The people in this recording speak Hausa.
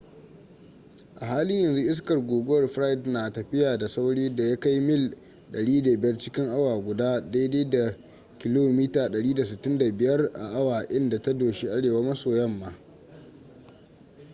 a halin yanzu iskar guguwar fred na tafiya da saurin da ya kai mil 105 cikin awa guda 165 km/h inda ta doshi arewa-maso-yamma